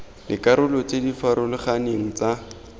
dikarolo tse di farologaneng tsa